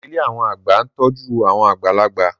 Ilé àwọn àgbà ń tọ́jú àwọn àgbàlagbà